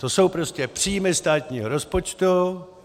To jsou prostě příjmy státního rozpočtu.